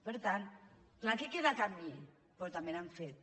per tant clar que queda camí però també n’hem fet